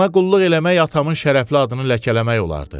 Ona qulluq eləmək atamın şərəfli adını ləkələmək olardı.